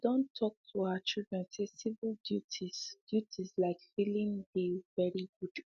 she done talk to her children say civic duties duties like filling dey very good